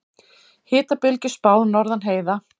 Hitabylgju spáð norðan heiða